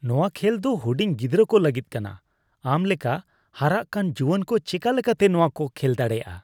ᱱᱚᱶᱟ ᱠᱷᱮᱞ ᱫᱚ ᱦᱩᱰᱤᱧ ᱜᱤᱫᱽᱨᱟᱹ ᱠᱚ ᱞᱟᱹᱜᱤᱫ ᱠᱟᱱᱟ ᱾ ᱟᱢ ᱞᱮᱠᱟ ᱦᱟᱨᱟᱜ ᱠᱟᱱ ᱡᱩᱣᱟᱹᱱ ᱠᱚ ᱪᱮᱠᱟ ᱞᱮᱠᱟᱛᱮ ᱱᱚᱣᱟ ᱠᱚ ᱠᱷᱮᱞ ᱫᱟᱲᱮᱭᱟᱜᱼᱟ ?